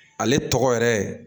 Ale tɔgɔ yɛrɛ